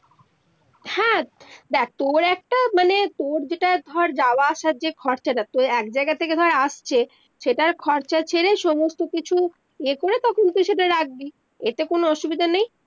দেখ তর একটা মানে তর যেটা ধর যাওয়া আসার যেই খরচাটা তর এক জায়গা থেকে ধর আসছে সেটার খরচা ছেড়ে সমস্ত কিছু ইয়ে করে তখন তুই সেটা রাখবি এতে কোনো অসুবিধে নেই